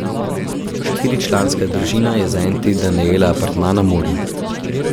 Štiričlanska družina je za en teden najela apartma na morju.